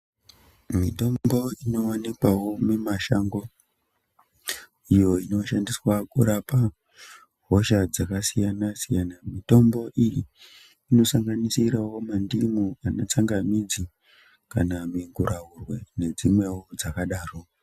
Mitombo inowanikwawo mimashango iyo inoshandiswa kurapa hosha dzakasiyana siyana. Mitombo iyi inosanganisirawo mandimu, kana tsangamidzi kana mikuraurwe nedzimwewo dzakadaro.